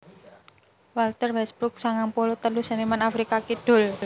Walter Westbrook sangang puluh telu seniman Afrika Kidul